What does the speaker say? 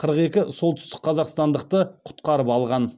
қырық екі солтүстік қазақстандықты құтқарып алған